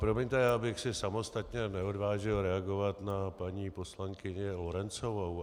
Promiňte, já bych si samostatně neodvážil reagovat na paní poslankyni Lorencovou.